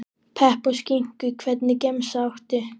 Pepp og skinku Hvernig gemsa áttu?